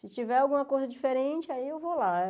Se tiver alguma coisa diferente, aí eu vou lá.